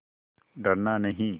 डरना नहीं